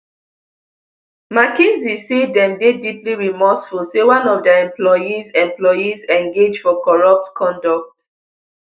mckinsey say dem dey deeply remorseful say one of dia employees employees engage for corrupt conduct